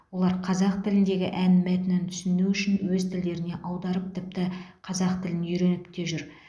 олар қазақ тіліндегі ән мәтінін түсіну үшін өз тілдеріне аударып тіпті қазақ тілін үйреніп те жүр